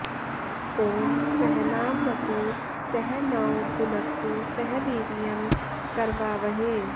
ॐ सहनाववतु सह नौ भुनक्तु सह वीर्यं करवावहै